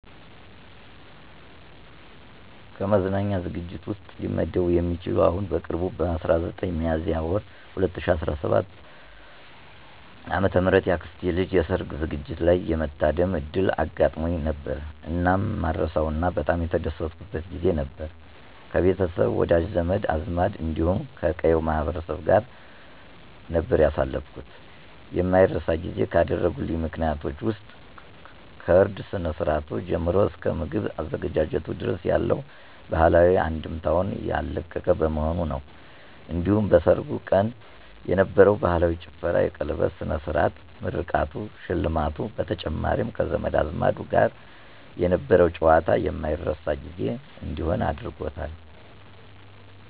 ከመዝናኛ ዝግጅት ውስጥ ሊመደብ የሚችል አሁን በቅርቡ በ19 ሚያዝያ ወር 2017 ዓ.ም የአክስቴ ልጅ የሠርግ ዝግጅት ላይ የመታደም ዕድል አጋጥሞኝ ነበር። እናም ማረሳው እና በጣም የተደሰትኩበት ጊዜ ነበር። ከቤተሰብ፣ ወዳጅ፣ ዘመድ አዝማድ እንዲሁም ከቀዬው ማህበረሰብ ጋር ነበር ያሳለፍኩት። የማይረሳ ጊዜ ካደረጉልኝ ምክንያቶች ውስጥ ከእርድ ስነ-ስርአቱ ጀምሮ እስከ ምግብ አዘገጃጀቱ ድረስ ያለው ባህላዊ አንድምታውን ያለቀቀ በመሆኑ ነው። እንዲሁም በሠርጉ ቀን የነበረው ባህላዊ ጭፈራ፣ የቀለበት ስነ-ስርዓቱ፣ ምርቃቱ፣ ሽልማቱ በተጨማሪም ከዘመድ አዝማዱ ጋር የነበረው ጨዋታ የማረሳው ጊዜ እንዲሆን አድርጎታል።